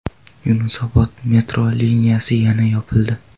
Yunusobod metro liniyasi yana yopildi.